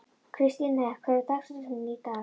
Kristine, hver er dagsetningin í dag?